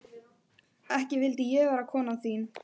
Ekki vildi ég vera konan þín.